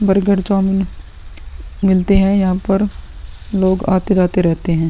Burger chow mein मिलते हैं। यहाँ पर लोग आते जाते रहते हैं।